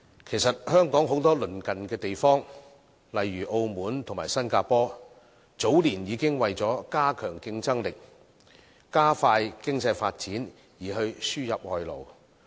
其實，香港很多鄰近地方，例如澳門和新加坡，早年已經為了加強競爭力，加快經濟發展而輸入外勞。